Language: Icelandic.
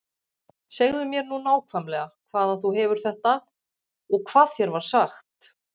Segðu mér nú nákvæmlega hvaðan þú hefur þetta og hvað þér var sagt.